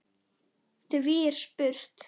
Því er spurt: